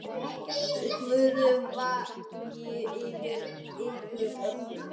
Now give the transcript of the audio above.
Guð vaki yfir ykkur öllum.